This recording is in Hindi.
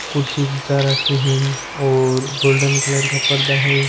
कुर्सिया जच्चा राखी है और गोल्डन कलर का पर्दा है।